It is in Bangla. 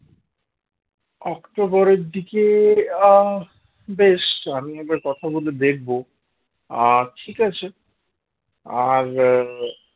অক্টোবরের দিকে আহ বেশ আমি একবার কথা বলে দেখব আর ঠিক আছে আর আহ